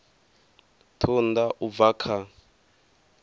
ṱun ḓa u bva kha